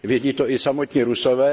Vědí to i samotní Rusové.